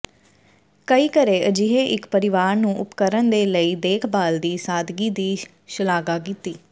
ਕਈ ਘਰੇ ਅਜਿਹੇ ਇੱਕ ਪਰਿਵਾਰ ਨੂੰ ਉਪਕਰਣ ਦੇ ਲਈ ਦੇਖਭਾਲ ਦੀ ਸਾਦਗੀ ਦੀ ਸ਼ਲਾਘਾ ਕੀਤੀ